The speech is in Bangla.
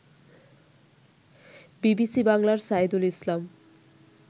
বিবিসি বাংলার সায়েদুল ইসলাম